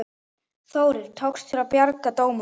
Þórir: Tókst að bjarga dómunum?